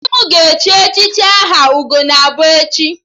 Di m ga-echi echichi aha 'Ugonabọ' echi